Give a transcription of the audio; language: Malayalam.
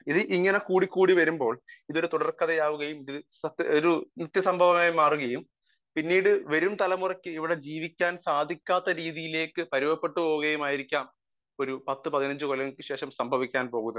സ്പീക്കർ 1 ഇത് ഇങ്ങനെ കൂടി കൂടി വരുമ്പോൾ ഇതൊരു തുടർക്കഥ ആവുകയും ഇതൊരു നിത്യ സംഭവം ആയി മാറുകയും പിന്നീട് വരും തലമുറക്ക് ഇവിടെ ജീവിക്കാൻ സാധിക്കാത്ത രീതിയിലേക്ക് പരുവപ്പെട്ടു പോവുകയും ആയിരിക്കാം ഒരു പത്തു പതിനഞ്ചു കൊല്ലത്തിനു ശേഷം സംഭവിക്കാൻ പോവുന്നത്